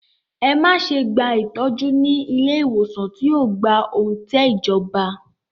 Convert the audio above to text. Ẹ má ṣe gba ìtọ́jú ní ilé ìwòsàn tí kò gba òǹtẹ̀ ìjọba!